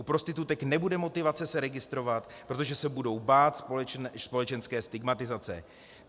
U prostitutek nebude motivace se registrovat, protože se budou bát společenské stigmatizace.